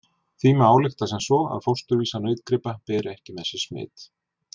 Því má álykta sem svo að fósturvísar nautgripa beri ekki með sér smit.